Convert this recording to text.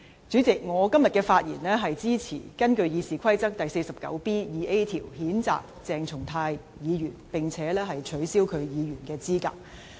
主席，我今天發言支持根據《議事規則》第 49B 條譴責鄭松泰議員，並且取消其議員的資格。